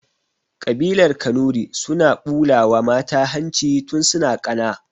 Ƙabilar kanuri suna ɓulawa mata hanci tun suna ƙana